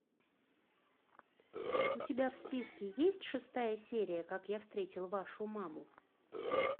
у тебя в списке есть шестая серия как я встретил вашу маму